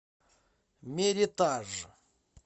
меритаж